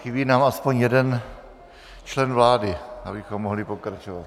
Chybí nám aspoň jeden člen vlády, abychom mohli pokračovat.